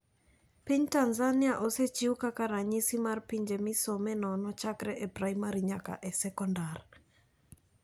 Piny Tanzania osechiw kaka ranyisi mar pinje misome nono chakre e primary nyaka e sekondar.